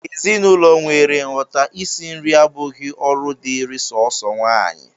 N'ezinụlọ nwere nghọta, isi nri abụghị ọrụ dịịrị sọọsọ nwaanyị